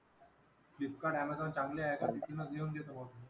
Flipkart, Amazon चांगली आहे का? तिथूनच देऊन देतो मग.